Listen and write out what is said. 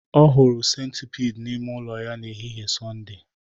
Ọ hụrụ centipede n'ime ụlọ ya n'ehihie Sọnde